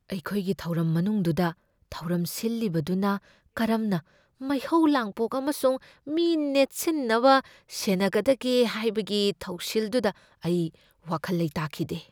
ꯑꯩꯈꯣꯏꯒꯤ ꯊꯧꯔꯝ ꯃꯅꯨꯡꯗꯨꯗ ꯊꯧꯔꯝ ꯁꯤꯜꯂꯤꯕꯗꯨꯅ ꯀꯔꯝꯅ ꯃꯩꯍꯧ ꯂꯥꯡꯄꯣꯛ ꯑꯃꯁꯨꯡ ꯃꯤ ꯅꯦꯠꯁꯤꯟꯅꯕ ꯁꯦꯟꯅꯒꯗꯒꯦ ꯍꯥꯏꯕꯒꯤ ꯊꯧꯁꯤꯜꯗꯨꯗ ꯑꯩ ꯋꯥꯈꯜ ꯂꯩꯇꯥꯈꯤꯗꯦ꯫